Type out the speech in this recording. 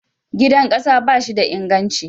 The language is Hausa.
Gidan ƙasa ba shi da inganci.